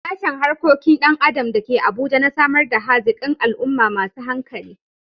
Sashen Harkokin Dan Adam da ke Abuja na samar da hazikan al'umma masu hankali.